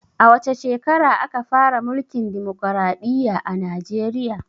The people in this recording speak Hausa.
A wace shekara aka fara mulkin dimokraɗiya a najeriya?